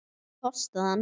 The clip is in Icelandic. Hvað kostaði hann?